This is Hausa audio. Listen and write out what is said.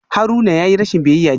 Haruna yayi rashin biyayya jiya